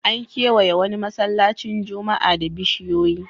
An kewaye wani masallacin juma'a da bishiyoyi.